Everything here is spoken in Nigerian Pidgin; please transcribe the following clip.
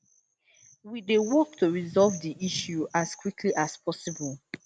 we dey work to resolve di issue as quickly as possible